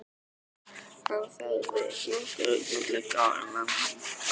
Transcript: Hann þagði nokkur augnablik áður en hann hélt áfram.